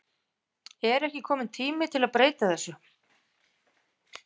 Er ekki kominn tími að breyta þessu?